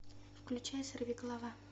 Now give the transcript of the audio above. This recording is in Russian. включай сорвиголова